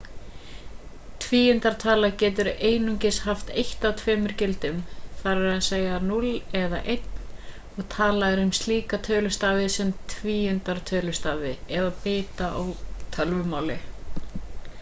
tvíundartala getur einungis haft eitt af tveimur gildum þ.e.a.s. 0 eða 1 og talað er um slíka tölustafi sem tvíundartölustafi eða bita á tölvumáli